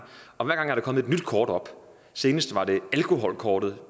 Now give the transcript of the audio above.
og hver gang er der kommet et nyt kort op senest var det alkoholkortet